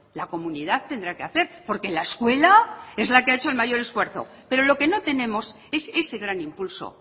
la comunidad tendrá que hacer porque la escuela es la que ha hecho el mayor esfuerzo pero lo que no tenemos es ese gran impulso